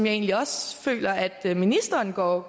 egentlig også føler at ministeren går